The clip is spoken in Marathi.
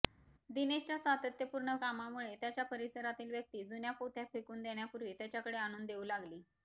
दिनेशच्या सातत्यपूर्ण कामामुळे त्याच्या परिसरातील व्यक्ती जुन्या पोथ्या फेकून देण्यापूर्वी त्याच्याकडे आणून देऊ लागली